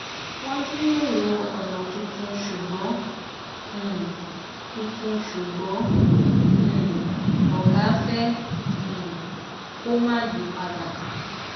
wọn jíròrò ònà tuntun ṣùgbọn um tuntun ṣùgbọn um ògá fẹ um kó má yí padà